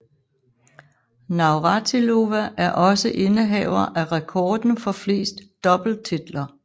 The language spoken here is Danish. Navratilova er også indehaver af rekorden for flest doubletitler